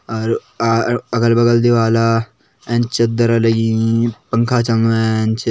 अर अ अगल-बगल दीवाला ऐच चद्दर लगीं पंखा चलणो ऐच।